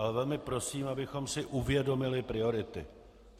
Ale velmi prosím, abychom si uvědomili priority.